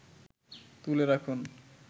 তুলে রাখুন